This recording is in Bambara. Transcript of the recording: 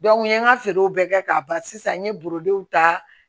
n ye n ka feerew bɛɛ kɛ k'a ban sisan n ye ta